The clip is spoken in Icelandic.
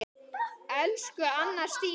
Elsku Anna Stína.